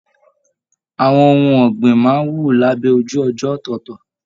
Àwọn ohùn ọ̀gbìn máa n wú labẹ ojú ọjọ ọtọọtọ.